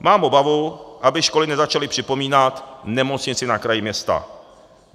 Mám obavu, aby školy nezačaly připomínat Nemocnici na kraji města.